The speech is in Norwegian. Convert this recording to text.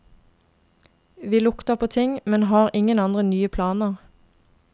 Vi lukter på ting, men har ingen andre nye planer.